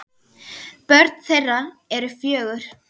Börn þeirra eru fjögur.